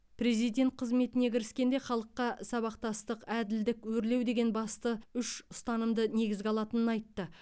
президент қызметіне кіріскенде халыққа сабақтастық әділдік өрлеу деген басты үш ұстанымды негізге алатынын айтты